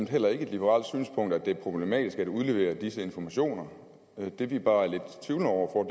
heller ikke er et liberalt synspunkt at det er problematisk at udlevere disse informationer det vi bare er lidt tvivlende over